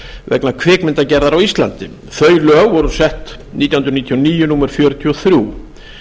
vegna kvikmyndagerðar á íslandi þau lög voru sett nítján hundruð níutíu og níu númer fjörutíu og þrjú